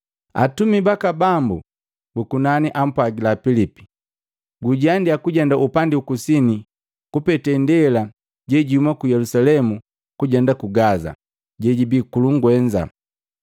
Atumi baka Bambu bu kunani ampwagila Pilipi, “Gujiandia kujenda upandi ukusini kupete ndela jejiuma ku Yelusalemu kujenda ku Gaza jejibii ku lungwenza.”